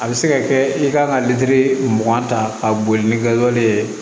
A bɛ se ka kɛ i kan ka lili mugan ta ka boli ni wale ye